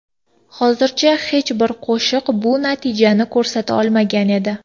Hozircha hech bir qo‘shiq bu natijani ko‘rsata olmagan edi.